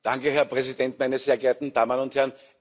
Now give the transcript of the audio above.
Herr Präsident, meine sehr geehrten Damen und Herren!